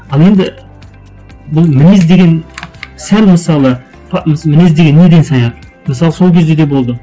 ал енді бұл мінез деген сәл мысалы осы мінез деген неден саяды мысалы сол кезде де болды